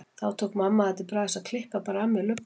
Þá tók mamma það til bragðs að klippa bara af mér lubbann.